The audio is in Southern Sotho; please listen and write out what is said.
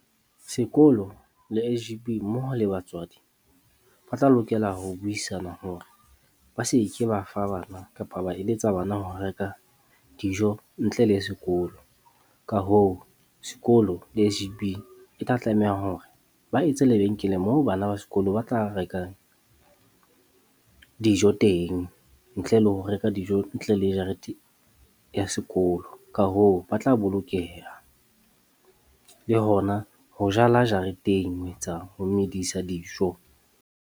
Sekolo le S_G_B mmoho le batswadi, ba tla lokela ho buisana hore ba se ke ba fa bana kapa ba eletsa bana ho reka dijo ntle le sekolo. Ka hoo, sekolo le S_G_B e tla tlameha hore ba etse lebenkele moo bana ba sekolo ba tla rekang dijo teng ntle le ho reka dijo ntle le jarete ya sekolo. Ka hoo, ba tla bolokeha le hona ho jala jareteng ho etsa, ho dijo.